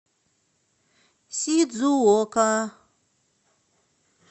сидзуока